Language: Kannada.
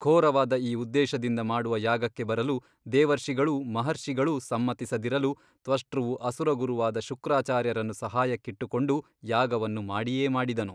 ಘೋರವಾದ ಈ ಉದ್ದೇಶದಿಂದ ಮಾಡುವ ಯಾಗಕ್ಕೆ ಬರಲು ದೇವರ್ಷಿಗಳೂ ಮಹರ್ಷಿಗಳೂ ಸಮ್ಮತಿಸದಿರಲು ತ್ವಷ್ಟೃವು ಅಸುರಗುರುವಾದ ಶುಕ್ರಾಚಾರ್ಯರನ್ನು ಸಹಾಯಕ್ಕಿಟ್ಟುಕೊಂಡು ಯಾಗವನ್ನು ಮಾಡಿಯೇ ಮಾಡಿದನು.